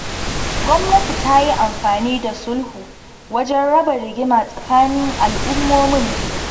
Gwamnati ta yi amfani da sulhu wajen raba rigima tsakanin al'ummomin biyu.